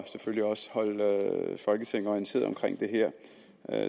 selvfølgelig også holde folketinget orienteret om det her